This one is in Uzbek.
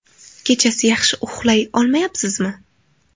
Kechasi yaxshi uxlay olmayapsizmi?